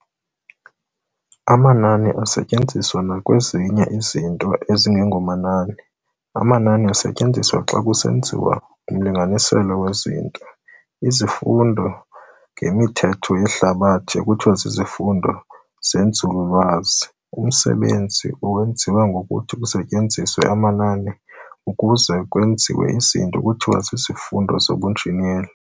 amanani asetyenziswa nakwezinye izinto ezingengomanani. amanani asetyenziswa xa kusenziwa umlinganiselo wezinto. Isifundo ngemithetho yehlabathi kuthiwa zizifundo zenzululwazi. umsebenzi owenziwa ngokuthi kusetyenziswe amanani ukuze kwenziwe izinto kuthiwa zizifundo zobunjineli.